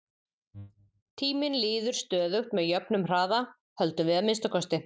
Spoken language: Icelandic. Tíminn líður stöðugt með jöfnum hraða, höldum við að minnsta kosti.